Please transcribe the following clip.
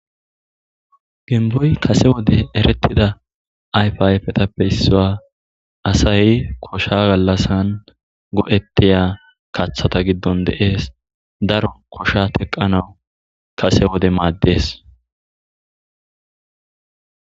Bimbboy kase wode ereththidaayfaa ayfethappe issuwa; asay kosha gallassan go7eththiya kaththatha giddon de7ees; daro koshaa teqqanawu kase wode maaddes.